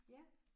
Ja